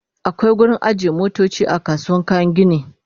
akwai wurin ajiye motoci a kasuwar kayan gini